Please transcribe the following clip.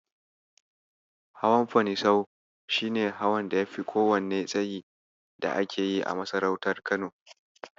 Hawan Fanisau shi ne hawan da yafi kowanne tsayi da ake yi a masarautar Kano.